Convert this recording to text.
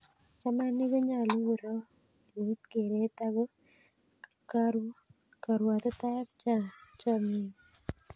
Chamaniik konyolu korop eut kereet ako karwotitoetab chamanenyi.